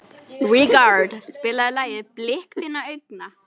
Ríkharð, spilaðu lagið „Blik þinna augna“.